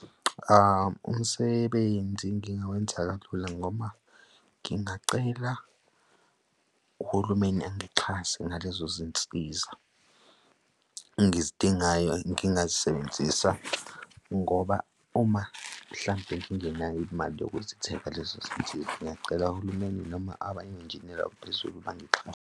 Umsebenzi ngingawenza kalula ngoma ngingacela uhulumeni angixhase ngalezo zinsiza engizidingayo ngingazisebenzisa ngoba uma mhlampe ngingenayo imali yokuzithengisa lezo zinsiza, ngingacela uhulumeni noma abanye, onjiniyela abaphezulu bangixhase.